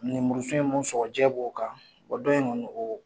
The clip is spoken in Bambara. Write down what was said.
Ninmuru tiɲɛn b'o kan wa don in kɔni o